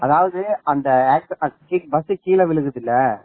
அதாவது அந்த accident bus கீழே விழுகுது இல்ல